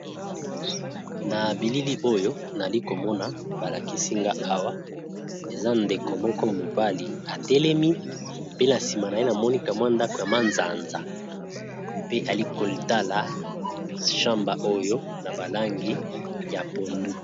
Na bilili oyo nali komona ba lakisi nga awa eza ndeko moko mobali atelemi, pe na nsima na ye na moni ka mwa ndako ya manzanza pe ali kotala chamba oyo na ba langi ya pondu.